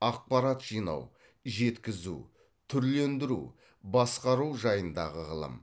ақпарат жинау жеткізу түрлендіру басқару жайындағы ғылым